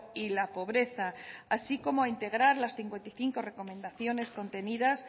y la pobreza así como a integrar las cincuenta y cinco recomendaciones contenidas